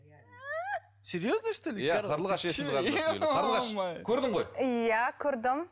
қарлығаш көрдің ғой иә көрдім